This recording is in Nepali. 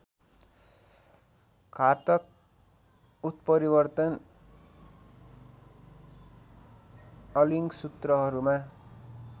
घातक उत्परिवर्तन अलिङ्गसूत्रहरूमा